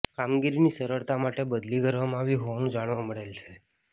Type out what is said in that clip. કામગીરીની સરળતા માટે બદલી કરવામાં આવી હોવાનુ જાણવા મળેલ છે